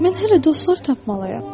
Mən hələ dostlar tapmalıyam.